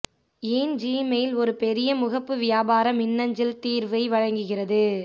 ஏன் ஜிமெயில் ஒரு பெரிய முகப்பு வியாபார மின்னஞ்சல் தீர்வை வழங்குகிறது